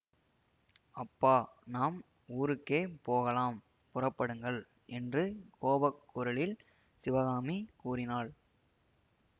அப்பா நாம் ஊருக்கே போகலாம் புறப்படுங்கள் என்று கோபக் குரலில் சிவகாமி கூறினாள்